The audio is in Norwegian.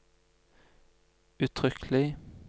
uttrykkelig